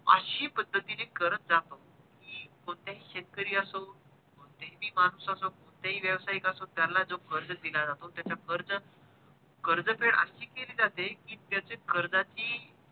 अशा पद्धतीने करत जातो कि कोणताही शेतकरी असो कोणता ही माणूस असो कोणताही व्यवसाहिक असो त्याला जो कर्ज दिला जातो त्याची कर्ज कर्ज तर अशी केली जाते कि त्याची कर्जाची